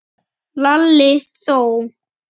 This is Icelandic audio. Lalli þó!